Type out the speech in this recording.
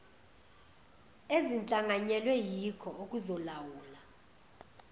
ezihlanganyelwe yiko okuzolawula